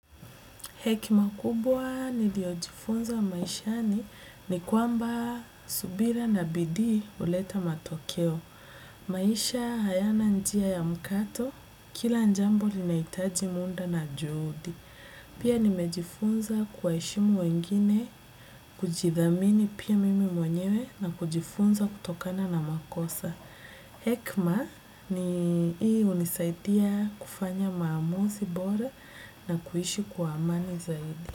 Hekima kubwa niliojifunza maishani ni kwamba subira na bidii huleta matokeo. Maisha hayana njia ya mkato, kila njambo linaitaji munda na juudi. Pia nimejifunza kuwaheshimu wengine, kujidhamini pia mimi mwenyewe na kujifunza kutokana na makosa. Hekma ni ii unisaidia kufanya maamuzi bora na kuishi kwa amani zaidi.